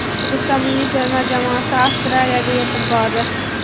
O‘zbekiston milliy terma jamoasi Avstraliyaga yetib bordi.